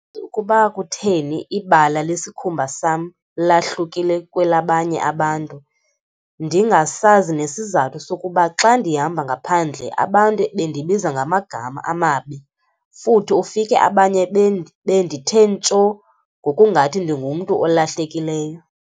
"Ukuba kutheni ibala lesikhumba sam lahlukile kwelabanye abantu, ndingasazi nesizathu sokuba xa ndihamba ngaphandle abantu bendibiza ngamagama amabi futhi ufike abanye bendithe ntsho ngokungathi ndingumntu olahlekileyo."